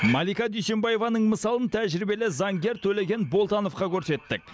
малика дүйсенбаеваның мысалын тәжірибелі заңгер төлеген болтановқа көрсеттік